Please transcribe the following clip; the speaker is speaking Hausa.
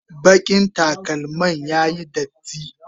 bakin takalman ya Yi datti